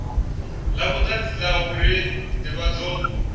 la vhutanzi la uri ndivhadzo